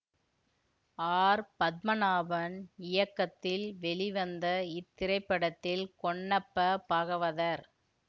R Padmanabhan இயக்கத்தில் வெளிவந்த இத்திரைப்படத்தில் ஹொன்னப்ப பாகவதர்